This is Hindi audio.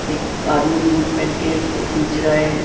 एक आदमी बूट पहन के उसको खींच रहा है।